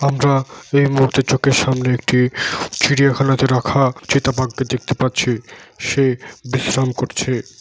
আমরা এই মুহূর্তে চোখের সামনে একটি চিড়িয়াখানাতে রাখা চিতা বাঘকে দেখতে পাচ্ছি সে বিশ্রাম করছে।